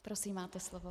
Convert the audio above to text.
Prosím, máte slovo.